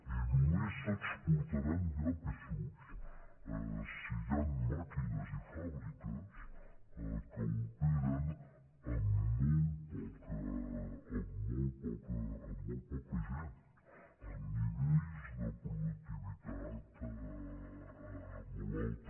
i només s’exportaran llapis si hi han màquines i fàbriques que operen amb molt poca gent amb nivells de productivitat molt alta